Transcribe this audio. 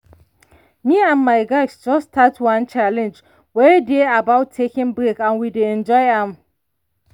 me and my guys just start one challenge wey dey about taking break and we dey enjoy am.